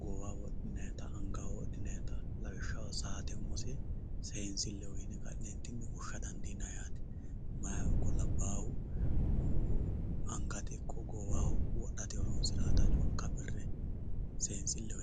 goowaho wodhinannitta angate wodhinannitta lawishshaho saate umose seensileho yineemmo addi addiha woshsha dandiinanni yaate, maayihu ikko labbahu angate ikko goowaho wodhatta seensileho yineemmo.